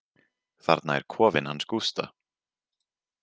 Þarna er kofinn hans Gústa.